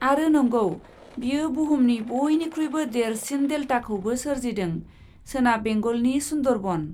आरो नंगौ, बेयो बुहुमनि बयनिख्रुइबो देरसिन देल्टाखौबो सोरजिदोंः सोनाब बेंगलनि सुन्दरबन।